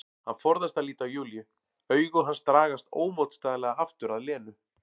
Hann forðast að líta á Júlíu, augu hans dragast ómótstæðilega aftur að Lenu.